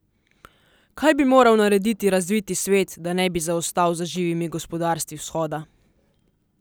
Kaj bi moral narediti razviti svet, da ne bi zaostal za živimi gospodarstvi vzhoda?